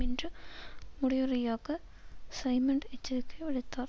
என்று முடிவுரையாக சைமன்ட் எச்சரிக்கை விடுத்தார்